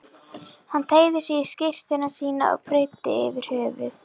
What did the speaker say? Hann teygði sig í skyrtuna sína og breiddi yfir höfuð.